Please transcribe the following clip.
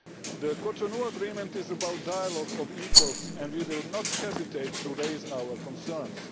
The Cotonou Agreement is about dialogue of equals and we will not hesitate to raise our concerns.